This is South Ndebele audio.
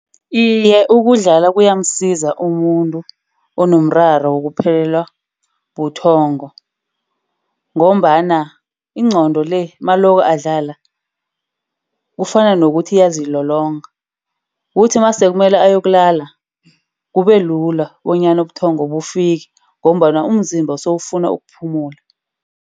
Iye, ukudlala kuyamsiza umuntu onomraro wokuphelelwa buthongo. Ngombana ingqondo le mako adlala kufana nokuthi iyazilolonga. Kuthi masekumele aye yokulala kubelula bonyana ubuthongo bufike ngombana umzimba sewufuna ukuphumula.